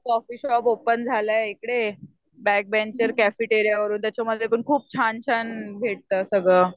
Coffee shop open झालंय इकडे. Back bencher cafeteria त्याच्या मधे पण खूप छान छान भेटतं सगळं.